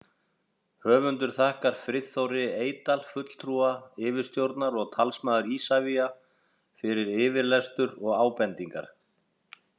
Höfundur þakkar Friðþóri Eydal, fulltrúi yfirstjórnar og talsmaður Isavia, fyrir yfirlestur og ábendingar.